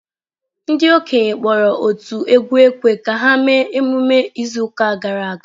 Ndị okenye kpọrọ otu egwu ekwe ka ha mee emume izu ụka gara aga.